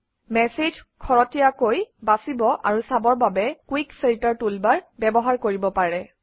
message খৰতকীয়াকৈ বাছিব আৰু চাবৰ বাবে কুইক ফিল্টাৰ টুলবাৰ ব্যৱহাৰ কৰিব পাৰে